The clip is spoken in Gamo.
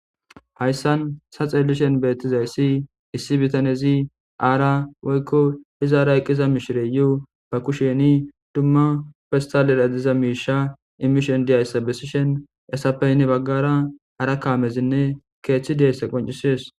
hayssan sa xeelishen beettizayssi issi bitanezi aara woykko hizaara eqqiza mishire yuu ba kusheni dumma festal eradiza miisha imishon diayssabesishen esapeynni baggara ara kaamezinne keeththi deeysse qoncisees